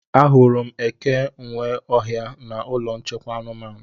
Ahụrụ m eke nwe ọhịa na ụlọ nchekwa anụmanụ